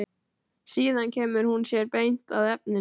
Síðan kemur hún sér beint að efninu.